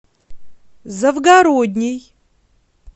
завгородней